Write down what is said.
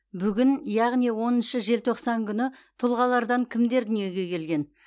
бүгін яғни оныншы желтоқсан күні тұлғалардан кімдер дүниеге келген